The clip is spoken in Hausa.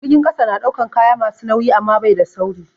Jirgin ƙasa na ɗaukan kaya masu nauyi amma bai da sauri.